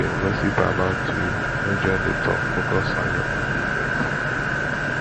if dem gossip about you no you no join di talk focus on your own business